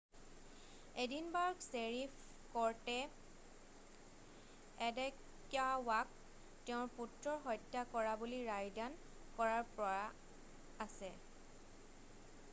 Edinburgh sheriff কৰ্টে এডেক্য়ৱাক তেওঁৰ পুত্ৰৰ হত্যা কৰা বুলি ৰায়দান কৰাৰ পৰা আছে